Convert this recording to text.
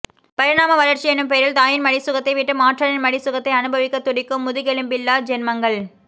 பரிணாமவளர்ச்சி எனும் பெயரில் தாயின் மடிசுகத்தைவிட்டு மாற்றானின் மடி சுகத்தை அனுபவிக்க துடிக்கும் முதுகெலும்பில்லா ஜென்மங்கள்